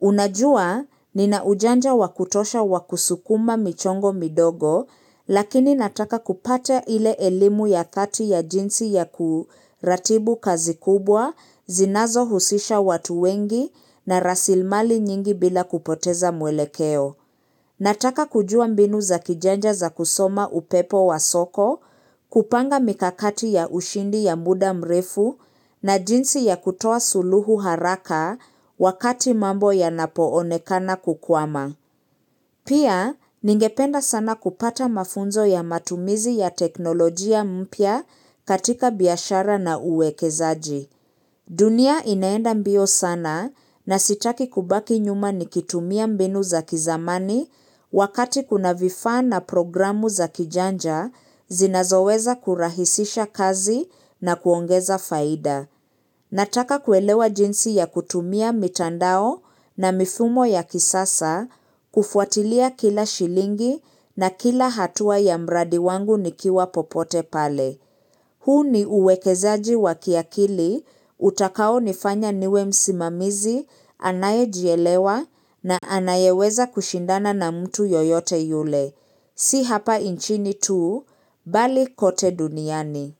Unajua, nina ujanja wa kutosha wa kusukuma michango midogo, lakini nataka kupata ile elimu ya dhati ya jinsi ya kuratibu kazi kubwa, zinazohusisha watu wengi na rasilimali nyingi bila kupoteza mwelekeo. Nataka kujua mbinu za kijanja za kusoma upepo wa soko, kupanga mikakati ya ushindi ya muda mrefu na jinsi ya kutoa suluhu haraka wakati mambo yanapoonekana kukwama. Pia, ningependa sana kupata mafunzo ya matumizi ya teknolojia mpya katika biashara na uwekezaji. Dunia inaenda mbio sana na sitaki kubaki nyuma nikitumia mbinu za kizamani wakati kuna vifaa na programu za kijanja zinazoweza kurahisisha kazi na kuongeza faida. Nataka kuelewa jinsi ya kutumia mitandao na mifumo ya kisasa kufuatilia kila shilingi na kila hatua ya mradi wangu nikiwa popote pale. Huu ni uwekezaji wa kiakili, utakaonifanya niwe msimamizi anayejielewa na anayeweza kushindana na mtu yoyote yule. Si hapa nchini tu, bali kote duniani.